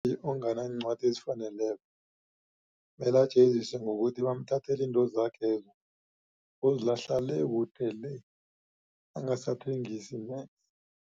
onganancwadi ezifaneleko mele ajeziswe ngokuthi bamthathele intozakhezo bozilahla le kude le angasathengisi